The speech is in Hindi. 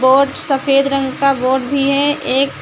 और सफेद रंग का बोर्ड भी है एक--